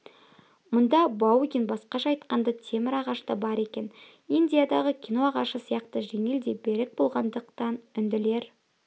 мұнда баугин басқаша айтқанда темір ағаш та бар екен индиядағы кино ағашы сияқты жеңіл де берік болғандықтан үнділер